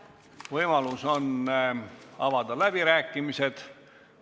Võimalus on avada läbirääkimised.